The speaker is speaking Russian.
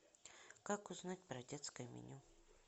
как узнать про детское меню